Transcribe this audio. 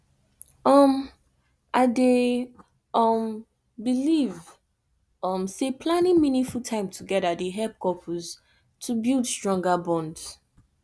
um i dey um believe um say planning meaningful time together dey help couples to build stronger bonds